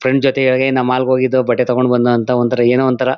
friend ಜೊತೆಗೆಯೇ mall ಹೋಗಿದ್ದೋ ಬಟ್ಟೆ ತೊಗೊಂಡ್ ಬಂದ ಅಂತ ಒಂತರ ಏನೋ ಒಂತರ--